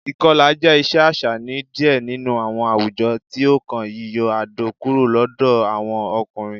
Ikọla jẹ iṣe aṣa ni diẹ ninu awọn awujọ, ti o kan yiyọ adọ kuro lọdọ awọn ọkunrin.